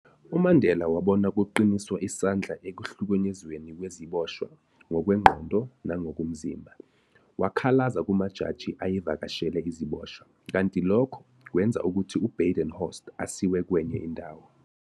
UMandela wabona kuqiniswa isandla ekuhlukunyezweni kwezibosha ngokwengqondo nangokomzimba, wakhalaza kumajaji ayevakashele iziboshwa, kanti lokhu kwenza ukuthi uBadenhorst asiwe kwenye indawo.